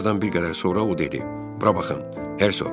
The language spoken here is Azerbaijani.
Nahardan bir qədər sonra o dedi: "Bura baxın, Hersoq."